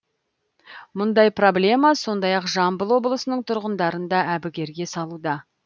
мұндай проблема сондай ақ жамбыл облысының тұрғындарын да әбігерге салуда